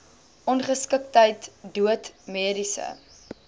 ongeskiktheid dood mediese